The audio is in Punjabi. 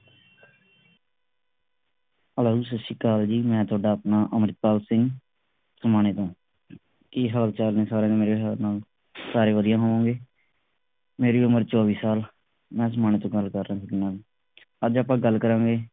hello ਸਤ ਸ੍ਰੀ ਅਕਾਲ ਜੀ ਮੈਂ ਤੁਹਾਡਾ ਆਪਣਾ ਅੰਮ੍ਰਿਤਪਾਲ ਸਿੰਘ ਸਮਾਣੇ ਤੋਂ ਕੀ ਹਾਲ ਚਾਲ ਨੇ ਸਾਰਿਆ ਸਾਰੇ ਵਧੀਆਂ ਹੋਣਗੇ। ਮੇਰੀ ਉਮਰ ਚੌਵੀ ਸਾਲ ਮੈਂ ਸਮਾਣੇ ਤੋਂ ਗੱਲ ਕਰ ਰਿਹਾ ਅੱਜ ਆਪਾਂ ਗੱਲ ਕਰਾਂਗੇ